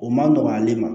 O man nɔgɔn ale ma